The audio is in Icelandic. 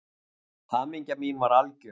Hamingja mín var algjör.